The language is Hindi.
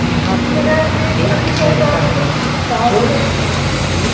यहां पे एक लड़का है जो खुद की--